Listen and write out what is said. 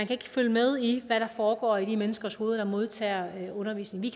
kan følge med i hvad der foregår i de menneskers hoveder der modtager undervisningen